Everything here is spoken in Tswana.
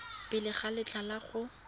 pele ga letlha la go